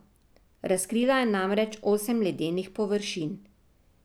Razkrila je namreč osem ledenih površin.